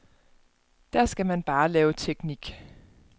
Der skal man bare lave teknik.